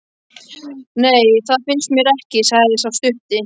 Nei, það finnst mér ekki, sagði sá stutti.